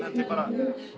bara